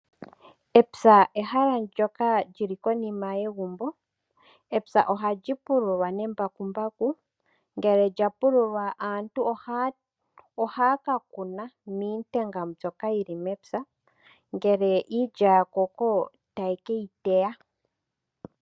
Epya ehala ndoka lyi li konima yegumbo. Epya ohali pululwa nembakumbaku, ngele lya pululwa aantu ohaya kuna miintenga mbyoka yi li mepya. Ngele iilya ya koko taye ke yi teya.